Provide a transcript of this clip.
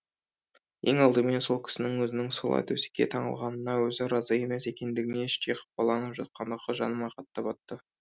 ең алдымен сол кісінің өзінің солай төсекке таңылғанына өзі разы емес екендігіне іштей қапаланып жатқандығы жаныма қатты батты